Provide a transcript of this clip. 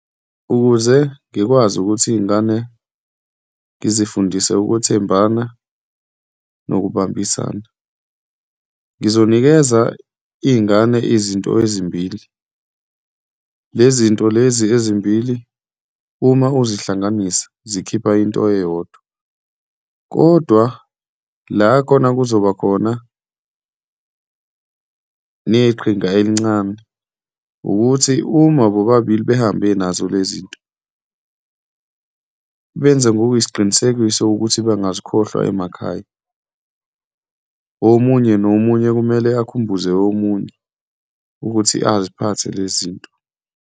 Ukuze ngikwazi ukuthi iy'ngane ngizifundise ukwethembana nokubambisana, ngizonikeza iy'ngane izinto ezimbili. Le zinto lezi ezimbili, uma uzihlanganisa zikhipha into eyodwa kodwa la khona kuzobakhona neqhinga elincane ukuthi uma bobabili behambe nazo le zinto benze ngokuyisiqinisekiso ukuthi bengazikhohlwa emakhaya, omunye nomunye kumele akhumbuze omunye ukuthi aziphathe lezi zinto.